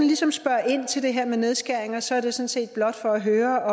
ligesom spørger ind til det her med nedskæringer sådan set blot for at høre